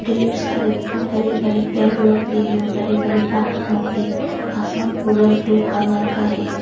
ढ़ेर सारे बड़े बड़े पेड़ लोग भी हैं और बड़े बड़े पहाड़ लोग भी आसमान पूरा ब्लू कलर का है।